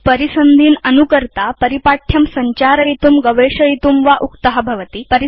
परिसन्धीन् अनुकर्ता उपयोक्ता परिपाठ्यं संचारयितुं गवेषयितुं वा उक्त भवति